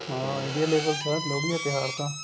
ਹਾਂ India level sir Lohri ਦਾ ਤਿਉਹਾਰ ਤਾਂ